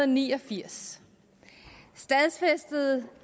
ni og firs stadfæstede